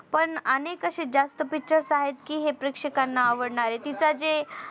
पण अनेक असे जास्त Pictures आहेत कि हे प्रेक्षकांना आवडणारे तिचा जे